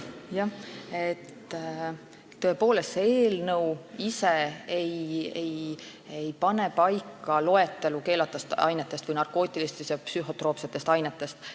Jah, tõepoolest, see eelnõu ei pane paika loetelu keelatud ainetest või narkootilistest ja psühhotroopsetest ainetest.